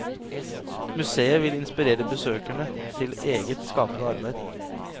Museet vil inspirere besøkerne til eget skapende arbeid.